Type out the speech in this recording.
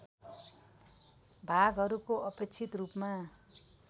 भागहरूको अपेक्षित रूपमा